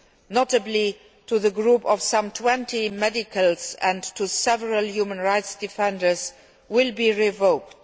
notably to the group of some 20 medical staff and to several human rights defenders, will be revoked.